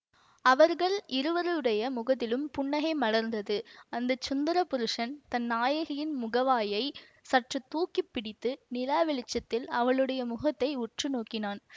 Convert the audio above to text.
அவர்கள் இருவருடைய முகத்திலும் புன்னகை மலர்ந்தது அந்த சுந்தரப் புருஷன் தன் நாயகியின் முகவாயைச் சற்று தூக்கி பிடித்து நிலா வெளிச்சத்தில் அவளுடைய முகத்தை உற்று நோக்கினான்